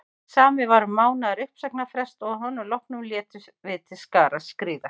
Samið var um mánaðar uppsagnarfrest og að honum loknum létum við til skarar skríða.